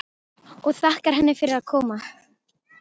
Og þakkar henni fyrir að koma.